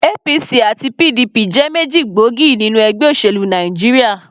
APC àti PDP jẹ́ méjì gbóògì nínú ẹgbẹ́ òṣèlú Nàìjíríà.